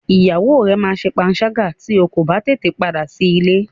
Ìyàwó rẹ máa ṣe panṣágà tí o kò bá tètè padà sí ilé.